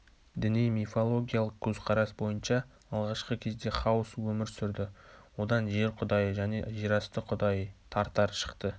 діни мифологиялық көзқарас бойынша алғашқы кезде хаос өмір сүрді одан жер құдайы және жерасты құдайы тартар шықты